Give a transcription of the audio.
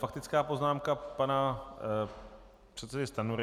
Faktická poznámka pana předsedy Stanjury.